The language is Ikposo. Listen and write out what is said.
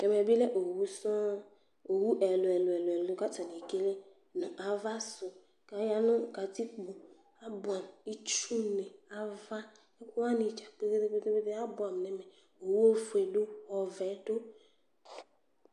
Tu ɛmɛ bi lɛ owu sɔŋ Owu ɛlu ɛlu ɛlu ɛlu ku atani ekele nu ava su ku aya nu katikpo abuɛ itsuni nu ava ɛkuwani dzapetepetepete abuɛamu Owu ɔfue du ɔvɛ du